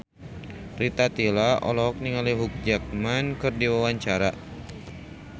Rita Tila olohok ningali Hugh Jackman keur diwawancara